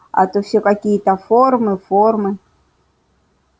а то всё какие-то формы формы